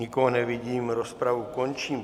Nikoho nevidím, rozpravu končím.